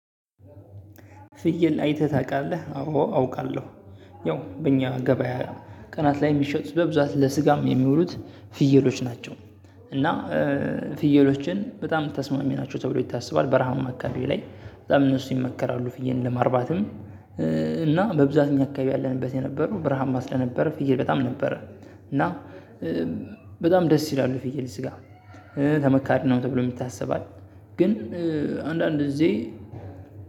ፍየል አይተህ ታውቃለህ አዎ አውቃለሁ። ያው በእኛ ገበያ ቀናት ላይ የሚሸጡት በብዛት ለስጋም የሚውሉት ፍየሎች ናቸው። እና ፍየሎችን በጣም ተስማሚ ናቸው ተብሎ ይታሰባል በረሃም አካባቢ ላይ በጣም እነሱ ይመከራሉ ፍየልን ለማርባትም። እና በብዛት እኛ አካባቢ ያለንበት የነበረው በረሃማ ስለነበረ ነበር ፍይል በጣም ነበረ። እና በጣም ደስ ይላሉ ፍይል ስጋ ተመካሪ ነው ተብሎም ይታሰባል። ግን አንዳንድ ግዜ